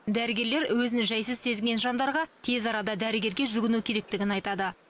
дәрігерлер өзін жайсыз сезінген жандарға тез арада дәрігерге жүгіну керектігін айтады